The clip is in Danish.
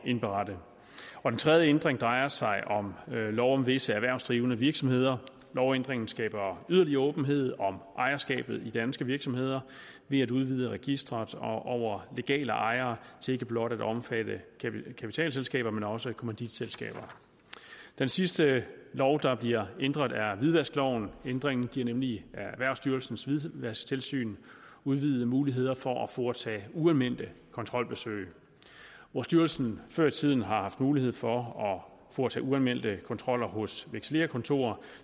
indberette den tredje ændring drejer sig om lov om visse erhvervsdrivende virksomheder lovændringen skaber yderligere åbenhed om ejerskabet i danske virksomheder ved at udvide registret over legale ejere til ikke blot at omfatte kapitalselskaber men også kommanditselskaber den sidste lov der bliver ændret er hvidvaskloven ændringen giver nemlig erhvervsstyrelsens hvidvasktilsyn udvidede muligheder for at foretage uanmeldte kontrolbesøg hvor styrelsen før i tiden har haft mulighed for at foretage uanmeldte kontroller hos vekselererkontorer